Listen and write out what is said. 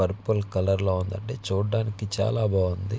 Purple colour లో ఉందండి చూడడానికి చాలా బాగుంది.